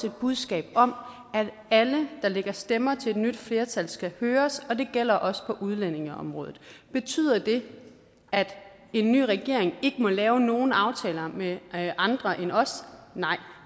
et budskab om at alle der lægger stemmer til et nyt flertal skal høres og det gælder også på udlændingeområdet betyder det at en ny regering ikke må lave nogen aftaler med andre end os nej